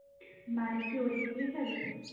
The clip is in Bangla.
বাড়ি কি ওদিক দিয়ে যাবি?